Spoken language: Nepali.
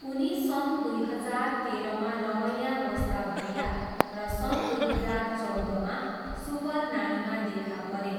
उनी सन् दुई हजार तेह्रमा रमैया वस्ताभैया र सन् दुई हजार चौधमा सुपर नानीमा देखा परे।